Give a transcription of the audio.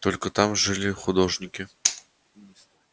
только там жили художники